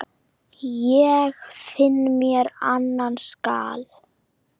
Ég finna mér annan skal.